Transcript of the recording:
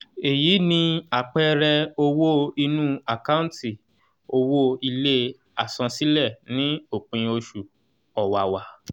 eyi ni àpẹẹrẹ owó inú àkántì owó ilé àsansílẹ̀ ní òpin oṣù ọ̀wàwà